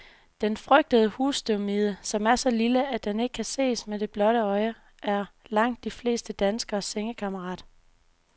Den frygtede husstøvmide, som er så lille, at den ikke kan ses med det blotte øje, er langt de fleste danskeres sengekammerat.